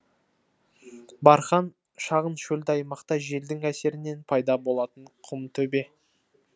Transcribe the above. бархан шағын шөлді аймақта желдің әсерінен пайда болатын құм төбе